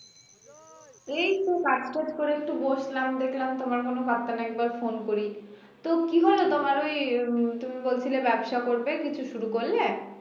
এইতো কাজ টাজ করে একটু বসলাম দেখলাম তোমার কোন পাত্তা নাই একবার phone করি তো কি হল তোমার ওই উম তুমি বলছিলে ব্যবসা করবে কিছু শুরু করলে